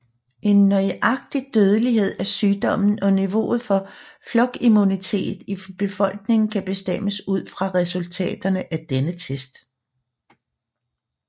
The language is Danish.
En nøjagtig dødelighed af sygdommen og niveauet for flokimmunitet i befolkningen kan bestemmes ud fra resultaterne af denne test